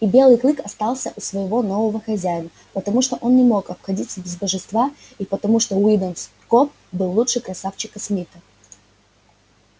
и белый клык остался у своего нового хозяина потому что он не мог обходиться без божества и потому что уидон скоп был лучше красавчика смита